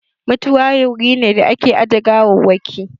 Mutuwari wuri ne da ake ajiye gawarwaki